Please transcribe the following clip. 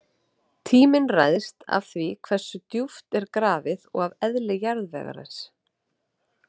Tíminn ræðst af því hversu djúpt er grafið og af eðli jarðvegarins.